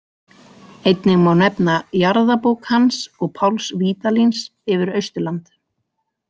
Einnig má nefna jarðabók hans og Páls Vídalíns yfir Austurland.